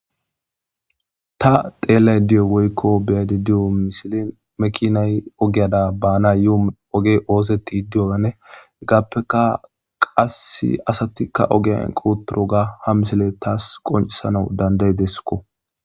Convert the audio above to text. Ta xeellada diyo woykko be7adi diyo misili maakinay ogiyara baanayo oge oosetidi diyoanne heggappeka qasse asatikka ogiyan eqqi uttidoga ha misile taas qoncisana danda7ideskko.